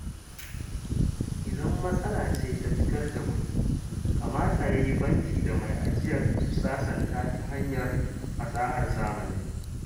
Idan matsala ce ta fitar kuɗi, kamata ya yi banki da mai ajiyar su sasanta ta hanyar fasahar zamani